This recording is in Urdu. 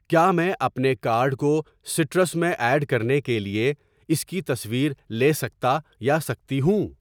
کیا میں اپنے کارڈ کو سٹرس میں ایڈ کرنے کے لیے اس کی تصویر لے سکتا یا سکتی ہوں؟